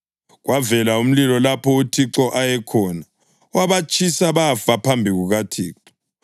Kwavela umlilo lapho uThixo ayekhona, wabatshisa bafa phambi kukaThixo.